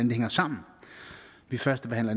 det hænger sammen vi førstebehandler